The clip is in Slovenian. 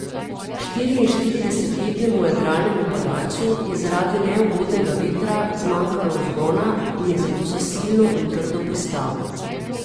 Štiriinštiridesetletnemu jadralnemu padalcu je zaradi neugodnega vetra zmanjkalo vzgona in je zato zasilno in trdo pristal.